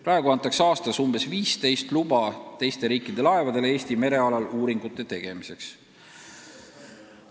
Praegu antakse aastas umbes 15 luba teiste riikide laevadele Eesti merealal uuringute tegemiseks.